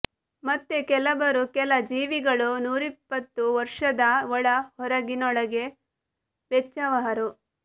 ಮತ್ತೆ ಕೆಲಬರು ಕೆಲ ಜೀವಿಗಳು ನೂರಿಪ್ಪತ್ತು ವರುಷದ ಒಳ ಹೊರಗಿನೊಳಗೆ ವೆಚ್ಚವಹರು